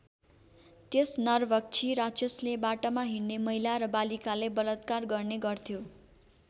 त्यस नरभक्षी राक्षसले बाटामा हिंड्ने महिला र बालिकालाई बलात्कार गर्ने गर्थ्यो।